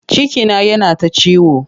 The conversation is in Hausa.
Cikina yana ta ciwo.